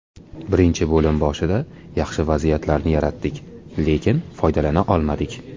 Birinchi bo‘lim boshida yaxshi vaziyatlarni yaratdik, lekin foydalana olmadik.